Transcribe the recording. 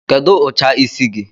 Kedụ ụcha isi gi?